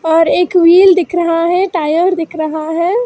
और एक व्हील दिख रहा है टायर दिख रहा है।